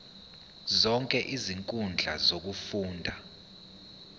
zonke izinkundla zokufunda